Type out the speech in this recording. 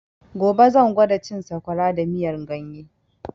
Gobe zan gwada cin sakwara da miyan ganye